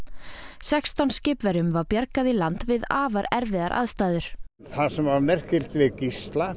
sextán skipverjum var bjargað í land við afar erfiðar aðstæður það sem var merkilegt við Gísla